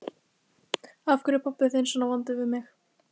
Af hverju er pabbi þinn svona vondur við þig?